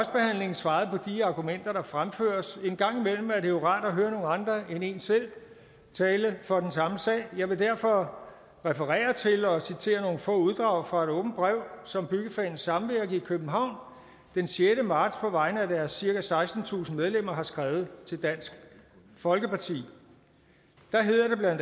svaret på de argumenter der fremføres en gang imellem er det jo rart at høre nogle andre end en selv tale for den samme sag jeg vil derfor referere til og citere nogle få uddrag fra et åbent brev som byggefagenes samvirke i københavn den sjette marts på vegne af deres cirka sekstentusind medlemmer har skrevet til dansk folkeparti der hedder det bla